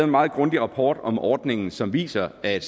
meget grundig rapport om ordningen som viser at